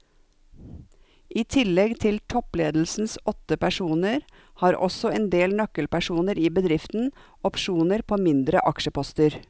I tillegg til toppledelsens åtte personer har også en del nøkkelpersoner i bedriften opsjoner på mindre aksjeposter.